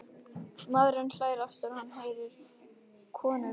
Maðurinn hlær aftur og hann heyrir konurödd.